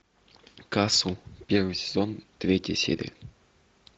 касл первый сезон третья серия